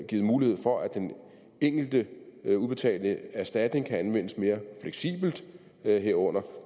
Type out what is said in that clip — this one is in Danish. givet mulighed for at den enkelte udbetalte erstatning kan anvendes mere fleksibelt herunder kan